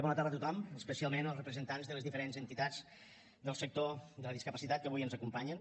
bona tarda a tothom especialment als representants de les diferents entitats del sector de la discapacitat que avui ens acompanyen